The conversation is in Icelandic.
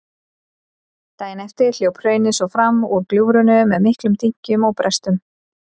Daginn eftir hljóp hraunið svo fram úr gljúfrinu með miklum dynkjum og brestum.